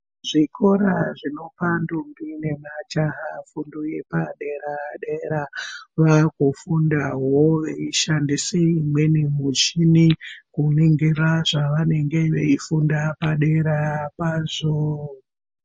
Zvikora zvinopa ndombi nemajaha fundo yepadera-dera, vaakufundawo veishandise imweni muchini, kuningira zvavanenge veifunda padera pazvoo.